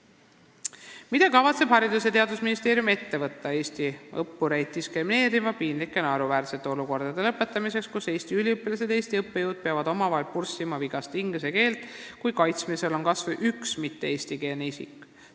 Neljas küsimus: "Mida kavatseb Haridus- ja Teadusministeerium ette võtta eesti õppureid diskrimineeriva, piinlike ja naeruväärsete olukordade lõpetamiseks, kus eesti üliõpilased ja eesti õppejõud peavad omavahel purssima vigast inglise keelt, kui kaitsmisel on kasvõi üks mitte-eestikeelne isik?